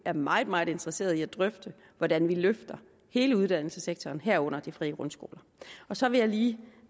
er meget meget interesserede i at drøfte hvordan vi løfter hele uddannelsessektoren herunder de frie grundskoler så vil jeg lige